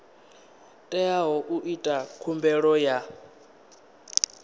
teaho u ita khumbelo ya